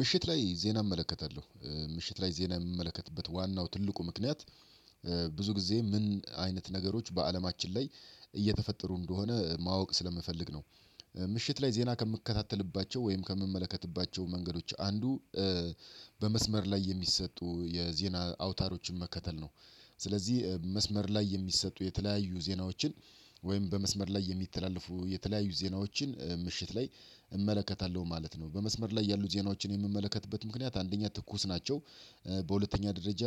ምሽት ላይ ዜና እመለከታለሁ ምሽት ላይ ዜና የምመለከትበት ዋናው ትልቁ ምክንያት ብዙ ጊዜ ምን አይነት ነገሮች በአለማችን ላይ እየተፈጠሩ እንደሆነ ማወቅ ስለምፈልግ ነው። ምሽት ላይ ዜና ከምከታተልባቸው ወይም ከምመለከትባቸው መንገዶች አንዱ በመስመር ላይ የሚሰጡ የዜና አውታሮችን መከተል ነው። ስለዚህ መስመር ላይ የሚሰጡ የተለያዩ ዜናዎችን ወይም በመስመር ላይ የሚተላለፉ የተለያዩ ዜናዎችን ምሽት ላይ እመለከታለሁ ማለት ነው። በመስመር ላይ ያሉ ዜናዎችን የምመለከትበት ምክንያት አንደኛ ትኩስ ናቸው። በሁለተኛ ደረጃ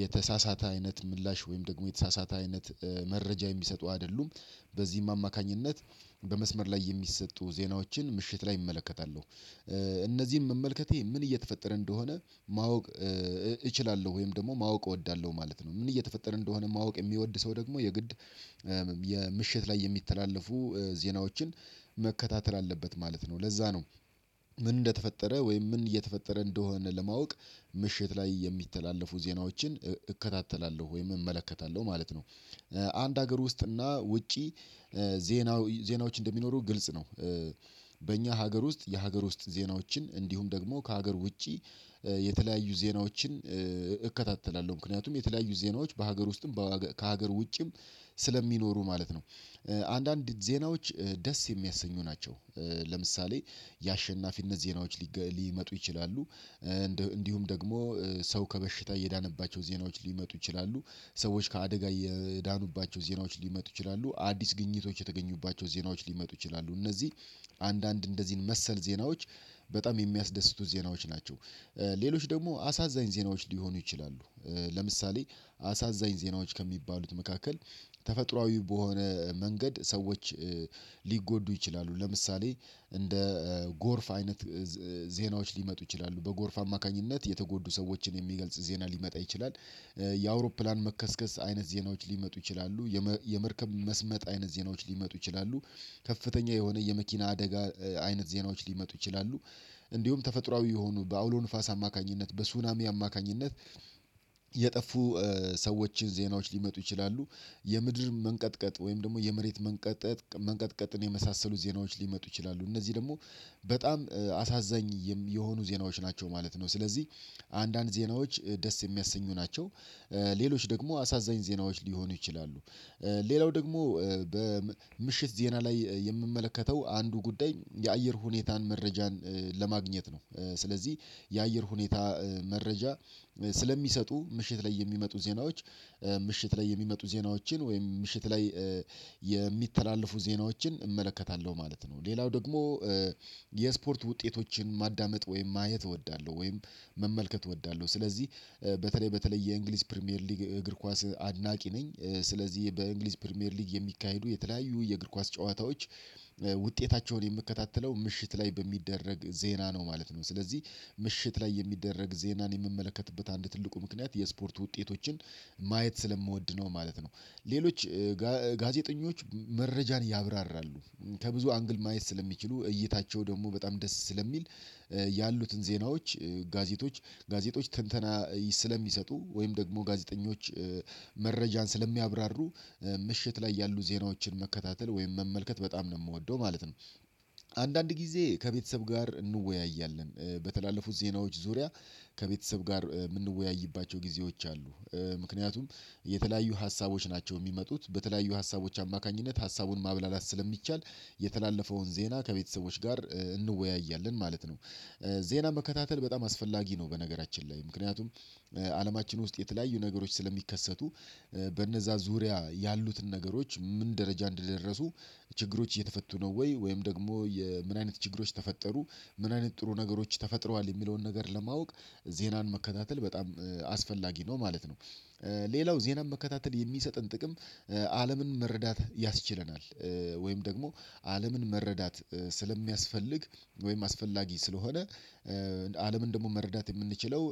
የተሳሳተ አይነት ምላሽ ወይም ደግሞ የተሳሳተ አይነት መረጃ የሚሰጡ አይደሉም። በዚህም አማካኝነት በመስመር ላይ የሚሰጡ ዜናዎችን ምሽት ላይ እመለከታለሁ። እነዚህም መመልከቴ ምን እየተፈጠረ እንደሆነ ማወቅ እችላለሁ ወይም ደግሞ ማወቅ እወዳለሁ ማለት ነው። ምን እየተፈጠረ እንደሆነ ማወቅ የሚወድ ሰው ደግሞ የግድ የምሽት ላይ የሚተላለፉ ዜናዎችን መከታተል አለበት ማለት ነው ለዛ ነው። ምን እንደተፈጠረ ወይም ምን እየተፈጠረ እንደሆነ ለማወቅ ምሽት ላይ የሚተላለፉ ዜናዎችን እከታተላለሁ ወይም እመለከታለሁ ማለት ነው። አንድ ሀገር ውስጥ እና ውጪ ዜና ዜናዎች እንደሚኖሩ ግልጽ ነው። በእኛ ሀገር ውስጥ የሀገር ውስጥ ዜናዎችን እንዲሁም ደግሞ ከሀገር ውጪ የተለያዩ ዜናዎችን እከታተላለሁ ምክንያቱም የተለያዩ ዜናዎች በሀገር ውስጥም ከሀገር ውጭም ስለሚኖሩ ማለት ነው። አንዳንድ ዜናዎች ደስ የሚያሰኙ ናቸው። ለምሳሌ የአሸናፊነት ዜናዎች ሊመጡ ይችላሉ። እንዲሁም ደግሞ ሰው ከበሽታ የዳነባቸው ዜናዎች ሊመጡ ይችላሉ ሰዎች ከአደጋ የዳኑባቸው ዜናዎች ሊመጡ ይችላሉ አዲስ ግኝቶች የተገኙባቸው ዜናዎች ሊመጡ ይችላሉ እነዚህ አንዳንድ እንደዚህን መሰል ዜናዎች በጣም የሚያስደስቱ ዜናዎች ናቸው። ሌሎች ደግሞ አሳዛኝ ዜናዎች ሊሆኑ ይችላሉ። ለምሳሌ አሳዛኝ ዜናዎች ከሚባሉት መካከል ተፈጥሮአዊ በሆነ መንገድ ሰዎች ሊጎዱ ይችላሉ ለምሳሌ እንደ ጎርፍ አይነት ዜናዎች ሊመጡ ይችላሉ በጎርፍ አማካኝነት የተጎዱ ሰዎችን የሚገልጽ ዜና ሊመጣ ይችላል። የአውሮፕላን መከስከስ አይነት ዜናዎች ሊመጡ ይችላሉ የመርከብ መስመጥ አይነት ዜናዎች ሊመጡ ይችላሉ ከፍተኛ የሆነ የመኪና አደጋ አይነት ዜናዎች ሊመጡ ይችላሉ እንዲሁም ተፈጥሮአዊ የሆኑ በአውሎ ንፋስ አማካኝነት በሱናሚ አማካኝነት የጠፉ ሰዎችን ዜናዎች ሊመጡ ይችላሉ። የምድር መንቀጥቀጥ ወይም ደግሞ የመሬት መንቀጥቀጥ መንቀጥቀጥን የመሳሰሉ ዜናዎች ሊመጡ ይችላሉ እነዚህ ደግሞ በጣም አሳዛኝ የሆኑ ዜናዎች ናቸው ማለት ነው። ስለዚህ አንዳንድ ዜናዎች ደስ የሚያሰኙ ናቸው። ሌሎች ደግሞ አሳዛኝ ዜናዎች ሊሆኑ ይችላሉ። ሌላው ደግሞ በምሽት ዜና ላይ የምመለከተው አንዱ ጉዳይ የአየር ሁኔታን መረጃን ለማግኘት ነው ስለዚህ የአየር ሁኔታ መረጃ ስለሚሰጡ ምሽት ላይ የሚመጡ ዜናዎች ምሽት ላይ የሚመጡ ዜናዎችን ወይም ምሽት ላይ የሚተላለፍ ዜናዎችን እመለከታለሁ ማለት ነው። ሌላው ደግሞ የስፖርት ውጤቶችን ማዳመጥ ወይም ማየት እወዳለሁ ወይም መመልከት እወዳለሁ። ስለዚህ በተለይ በተለይ የእንግሊዝ ፕሪሚየር ሊግ እግር ኳስ አድናቂ ነኝ ስለዚህ በእንግሊዝ ፕሪሚየር ሊግ የሚካሄዱ የተለያዩ የእግር ኳስ ጨዋታዎች ውጤታቸውን የምከታተለው ምሽት ላይ በሚደረግ ዜና ነው። ማለት ነው ስለዚህ ምሽት ላይ የሚደረግ ዜናን የምመለከትበት አንድ ትልቁ ምክንያት የስፖርት ውጤቶችን ማየት ስለምወድ ነው ማለት ነው። ሌሎች ጋዜጠኞች መረጃን ያብራራሉ ከብዙ አንግል ማየት ስለሚችሉ እይታቸው ደግሞ በጣም ደስ ስለሚል ያሉትን ዜናዎች ጋዜጦች ትንተና ስለሚሰጡ ወይም ደግሞ ጋዜጠኞች መረጃን ስለሚያብራሩ ምሽት ላይ ያሉ ዜናዎችን መከታተል ወይም መመልከት በጣም ነው የምወደው ማለት ነው። አንዳንድ ጊዜ ከቤተሰብ ጋር እንወያያለን በተላለፉት ዜናዎች ዙሪያ ከቤተሰብ ጋር የምንወያይባቸው ጊዜዎች አሉ። ምክንያቱም የተለያዩ ሀሳቦች ናቸው የሚመጡት በተለያዩ ሀሳቦች አማካኝነት ሀሳቡን ማብላላት ስለሚቻል የተላለፈውን ዜና ከቤተሰቦች ጋር እንወያያለን ማለት ነው። ዜና መከታተል በጣም አስፈላጊ ነው። በነገራችን ላይ ምክንያቱም አለማችን ውስጥ የተለያዩ ነገሮች ስለሚከሰቱ በነዛ ዙሪያ ያሉትን ነገሮች ምን ደረጃ እንደደረሱ ችግሮች እየተፈቱ ነው ወይ ወይም ደግሞ ምን አይነት ችግሮች ተፈጠሩ ምን አይነት ጥሩ ነገሮች ተፈጥረዋል የሚለውን ነገር ለማወቅ ዜናን መከታተል በጣም አስፈላጊ ነው ማለት ነው። ሌላው ዜናን መከታተል የሚሰጥን ጥቅም አለምን መረዳት ያስችለናል። ወይም ደግሞ አለምን መረዳት ስለሚያስፈልግ ወይም አስፈላጊ ስለሆነ አለምን ደግሞ መረዳት የምንችለው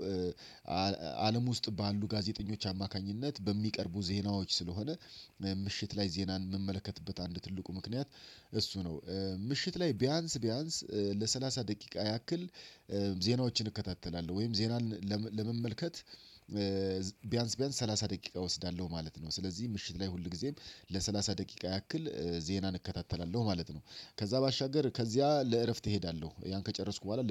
አለም ውስጥ ባሉ ጋዜጠኞች አማካኝነት በሚቀርቡ ዜናዎች ስለሆነ ምሽት ላይ ዜናን የምመለከትበት አንድ ትልቁ ምክንያት እሱ ነው ምሽት ላይ ቢያንስ ለሰላሳ ደቂቃ ያክል ዜናዎችን እከታተላለሁ ወይም ዜናን ለመመልከት ቢያንስ ቢያንስ ሰላሳ ደቂቃ እወስዳለሁ ማለት ነው። ስለዚህ ምሽት ላይ ሁል ጊዜም ለሠላሳ ደቂቃ ያክል ዜናን እከታተላለሁ ማለት ነው። ከዛ ባሻገር ከዚያ ለእረፍት እሄዳለሁ ያን ከጨረስኩ በኋላ